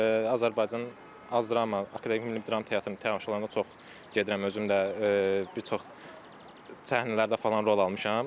Azərbaycan dram, Akademik Milli Dram Teatrının tamaşalarına çox gedirəm özüm də bir çox səhnələrdə falan rol almışam.